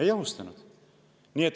Ei ohustanud.